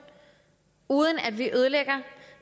uden at vi ødelægger